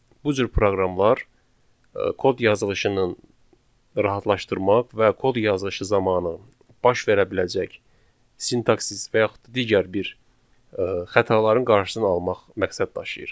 Bu cür proqramlar kod yazılışının rahatlaşdırmaq və kod yazılışı zamanı baş verə biləcək sintaksis və yaxud digər bir xətaların qarşısını almaq məqsəd daşıyır.